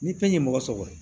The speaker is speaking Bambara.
Ni fɛn ye mɔgɔ sɔr